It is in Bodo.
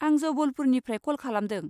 आं जबलपुरनिफ्राय क'ल खालामदों।